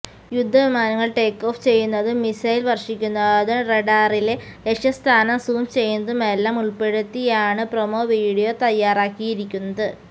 യുദ്ധവിമാനങ്ങള് take off ചെയ്യുന്നതും missile വര്ഷിക്കുന്നതും റഡാറില് ലക്ഷ്യസ്ഥാനം സൂം ചെയ്യുന്നതുമെല്ലാം ഉള്പ്പെടുത്തിയാണ് പ്രൊമോ വീഡിയോ തയ്യാറാക്കിയിരിക്കുന്നത്